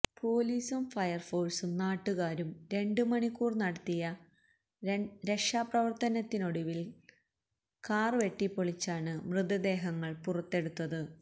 പൊലീസും ഫയര് ഫോഴ്സും നാട്ടുകാരും രണ്ട് മണിക്കൂര് നടത്തിയ രക്ഷാപ്രവര്ത്തനത്തിനൊടുവില് കാര് വെട്ടിപ്പൊളിച്ചാണ് മൃതദേഹങ്ങള് പുറത്തെടുത്തത്